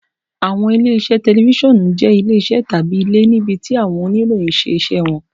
Awọn ile-iṣẹ tẹlifisiọnu jẹ ile-iṣẹ tabi ile, nibiti awọn oniroyin ṣe awọn iṣẹ wọn.